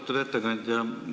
Austatud ettekandja!